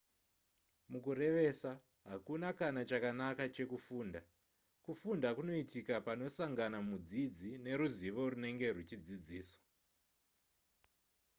mukurevesa hakuna kana chakanaka chekufunda kufunda kunoitika panosangana mudzidzi neruzivo runenge ruchidzidziswa